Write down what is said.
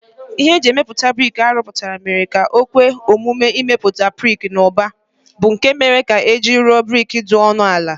Ihe e ji emepụta brik a rụpụtara mere ka o kwe omume imepụta brik n'ụba, bụ́ nke mere ka e ji rụọ brik dị ọnụ ala